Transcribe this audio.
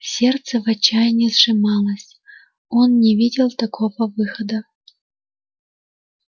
сердце в отчаянии сжималось он не видел никакого выхода